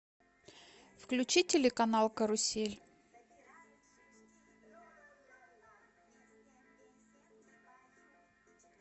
включи телеканал карусель